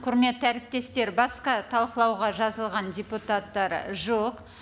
құрметті әріптестер басқа талқылауға жазылған депутаттар жоқ